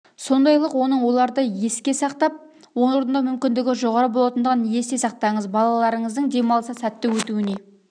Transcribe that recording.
сондайлық оның оларды еске сақтап орындау мүмкіндігі жоғары болатындығын есте сақтаңыз балаларыңыздың демалысы сәтті өтуіне